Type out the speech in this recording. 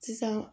Sisan